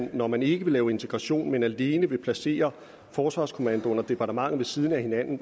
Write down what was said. når man ikke vil lave integration men man alene vil placere forsvarskommandoen og departementet ved siden af hinanden